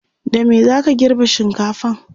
da me zaka girbe shinkafan?